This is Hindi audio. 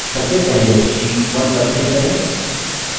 सबसे पहले sheet 1 पर click करें